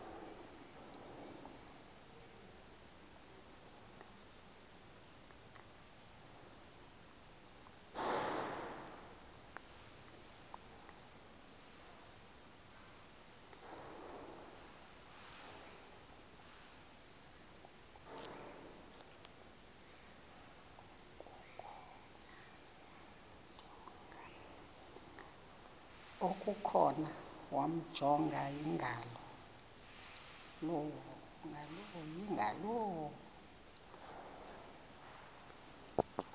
okukhona wamjongay ngaloo